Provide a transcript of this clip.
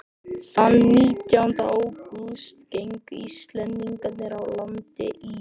Þann nítjánda ágúst gengu Íslendingarnir á land í